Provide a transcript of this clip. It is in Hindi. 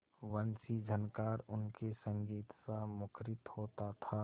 वंशीझनकार उनके संगीतसा मुखरित होता था